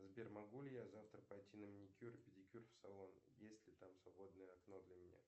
сбер могу ли я завтра пойти на маникюр и педикюр в салон есть ли там свободное окно для меня